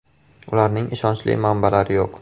Ularning ishonchli manbalari yo‘q.